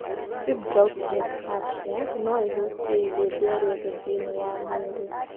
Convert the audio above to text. Fibrous dysplasia no ĩhutie ihĩndĩ o rĩothe thĩinĩ wa mwĩrĩ.